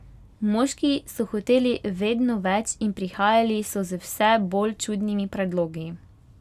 Moški so hoteli vedno več in prihajali so z vse bolj čudnimi predlogi.